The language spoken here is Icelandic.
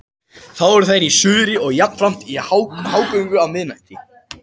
Þá eru þær í suðri og jafnframt í hágöngu á miðnætti.